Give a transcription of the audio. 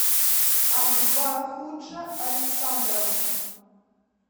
акбархуджа александровна